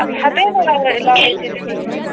हातही नाही लाव लावायचे तेव्हाचे